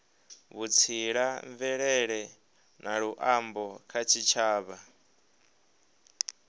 vhutsila mvelele na luambo kha tshitshavha